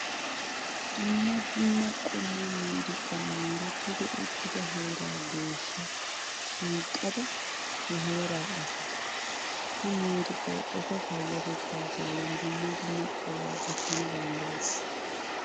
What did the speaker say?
Dumma dumma qommo miiriqan mooretti uttida heeraa geeshshaa shiiqida he heeraa asaa. Ha miiriqayi eta payyatettaa bollan dumma dumma qohuwaa gattana danddayes.